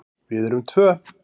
Við erum tvö.